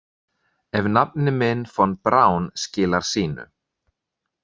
Ef nafni minn Von Braun skilar sínu.